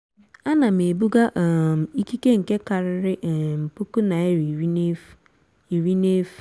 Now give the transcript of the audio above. a na m ebuga um ìkíke nke kariri um puku naira irí n'efu. irí n'efu.